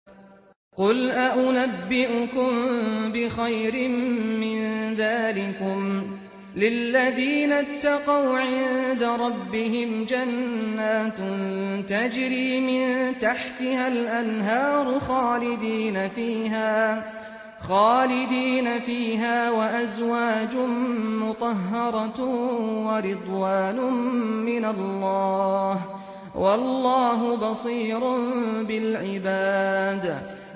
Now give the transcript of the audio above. ۞ قُلْ أَؤُنَبِّئُكُم بِخَيْرٍ مِّن ذَٰلِكُمْ ۚ لِلَّذِينَ اتَّقَوْا عِندَ رَبِّهِمْ جَنَّاتٌ تَجْرِي مِن تَحْتِهَا الْأَنْهَارُ خَالِدِينَ فِيهَا وَأَزْوَاجٌ مُّطَهَّرَةٌ وَرِضْوَانٌ مِّنَ اللَّهِ ۗ وَاللَّهُ بَصِيرٌ بِالْعِبَادِ